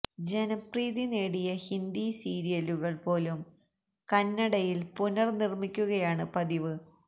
ജനപ്രീതി നേടിയ ഹിന്ദി സീരിയലുകള് പോലും കന്നടയില് പുനര് നിര്മ്മിക്കുകയാണ് പതിവ്